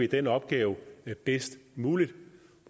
den opgave bedst muligt